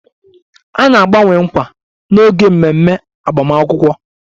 A na-agbanwe nkwa n'oge ememe agbamakwụkwọ